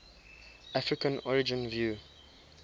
african origin view